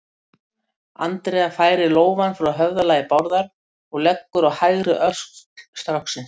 Andrea færir lófann frá höfðalagi Bárðar og leggur á hægri öxl stráksins.